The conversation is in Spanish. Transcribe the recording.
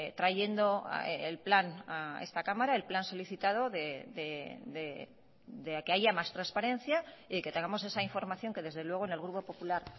trayendo el plan a esta cámara el plan solicitado de que haya más transparencia y que tengamos esa información que desde luego en el grupo popular